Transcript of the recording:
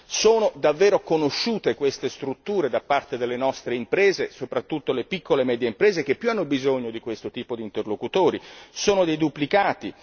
Sono davvero conosciute queste strutture da parte delle nostre imprese, soprattutto le piccole e medie imprese che più hanno bisogno di questo tipo di interlocutori, sono dei duplicati?